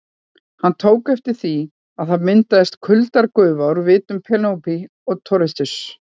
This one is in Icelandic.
Hann tók eftir því að það myndaðist kuldagufa úr vitum Penélope og Toshizo.